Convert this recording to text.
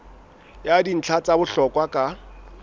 ya dintlha tsa bohlokwa ka